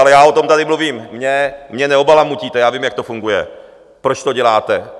Ale já o tom tady mluvím, mě neobalamutíte, já vím, jak to funguje, proč to děláte.